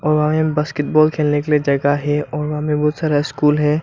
और वहां में बास्केटबॉल खेलने के लिए जगह है और वहां में बहुत सारा स्कूल है।